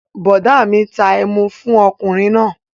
Bọ̀ọ̀dá mi ta ẹmu fún ọkùnrin náà